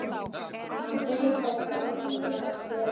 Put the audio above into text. Hann beið þess aldrei bætur.